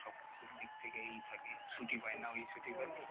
সবকিছুর দিক থেকে ই থাকে ছুটি পাই না